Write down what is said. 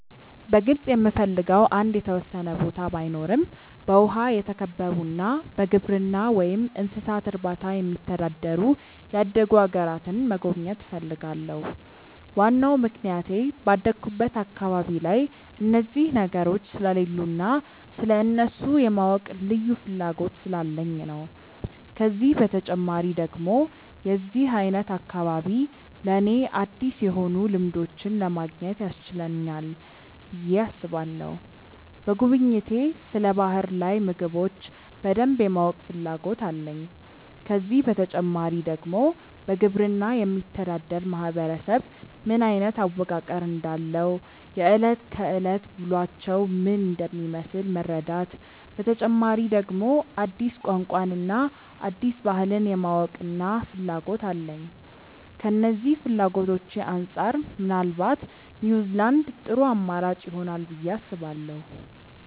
በግልጽ የምፈልገው አንድ የተወሰነ ቦታ ባይኖረም በውሃ የተከበቡና በግብርና ወይም እንስሳት እርባታ የሚተዳደሩ ያደጉ አገራትን መጎብኘት እፈልጋለሁ። ዋናው ምክንያቴ ባደኩበት አካባቢ ላይ እነዚህ ነገሮች ስለሌሉ እና ስለእነሱ የማወቅ ልዩ ፍላጎት ስላለኝ ነው። ከዚህ በተጨማሪ ደግሞ የዚህ አይነት አካባቢ ለኔ አዲስ የሆኑ ልምዶችን ለማግኘት ያስችለናል ብዬ አስባለሁ። በጉብኝቴ ስለ ባህር ላይ ምግቦች በደንብ የማወቅ ፍላጎት አለኝ። ከዚህ በተጨማሪ ደግሞ በግብርና የሚተዳደር ማህበረሰብ ምን አይነት አወቃቀር እንዳለው፣ የእለት ከእለት ውሎአቸው ምን እንደሚመስል መረዳት፤ በተጨማሪ ደግሞ አዲስ ቋንቋን እና አዲስ ባህልን የማወቅና ፍላጎት አለኝ። ከነዚህ ፍላጎቶቼ አንጻር ምናልባት ኒውዝላንድ ጥሩ አማራጭ ይሆናል ብዬ አስባለሁ።